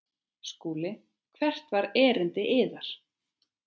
SKÚLI: Hvert var erindi yðar?